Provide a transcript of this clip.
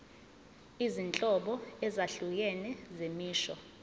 izinhlobo ezahlukene zemisho